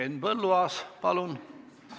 Henn Põlluaas, palun!